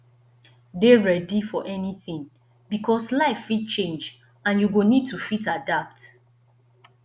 dey ready for anything because life fit change and you go need to fit adapt